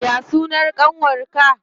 Ya sunan ƙanwar ka?